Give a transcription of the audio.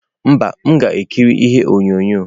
Mba, m ga-ekiri ihe onyonyo.